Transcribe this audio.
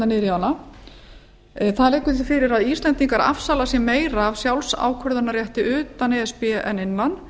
í hana það liggur hér fyrir að íslendingar afsala sé meiru af sjálfsákvörðunarrétti utan e s b en innan